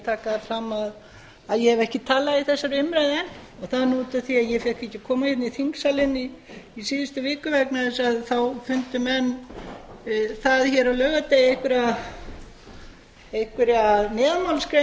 taka fram að ég hef ekki talað í þessari umræðu enn sem er út af því að ég fékk ekki að koma í þingsalinn í síðustu viku vegna þess að þá fundu menn það hér á laugardegi einhverja neðanmálsgrein